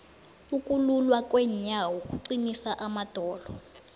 ukululwa kweenyawo kuqinisa amadolo